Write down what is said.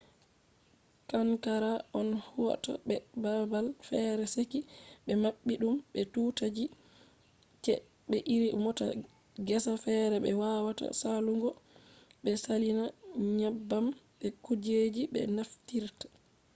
qanqara on hauto be babal fere seki be mabbi dum be tuuta ji. se be iri mota gesa fere be wawata salugo be salina nyebbam be kujeji be naftirta